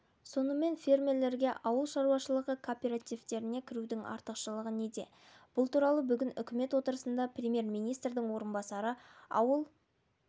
сонымен фермерлерге ауыл шаруашылығы кооперативтеріне кірудің артықшылығы неде бұл туралы бүгін үкімет отырысында премьер-министрдің орынбасары ауыл